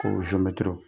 Ko